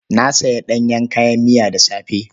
Na sayi ɗanyen kayan miya da safe.